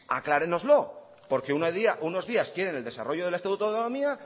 aclárenoslo porque unos días quieren el desarrollo del estatuto de autonomía